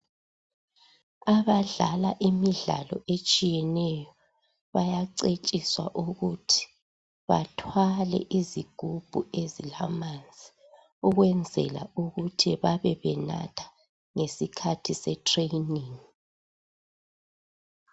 Abadlala ,imidlalo etshiyeneyo bayacetshiswa ukuthi bethwale izigubhu ezilamanzi . Ukwenzela ukuthi babe benatha ngesikhathi se training.